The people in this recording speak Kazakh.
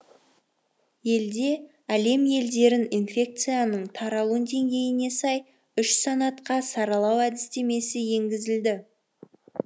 елде әлем елдерін инфекцияның таралу деңгейіне сай үш санатқа саралау әдістемесі енгізілді